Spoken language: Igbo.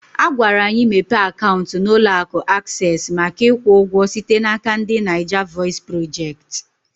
Agwara anyị mepe akaụntụ na ụlọ akụ Aksesị maka ikwu ụgwọ site n'aka ndị Naija vọis projekti